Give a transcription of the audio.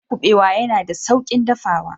Miyan kubewa yana da saukin dafawa